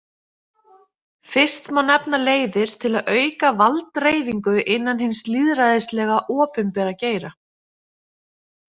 Fyrst má nefna leiðir til að auka valddreifingu innan hins lýðræðislega, opinbera geira.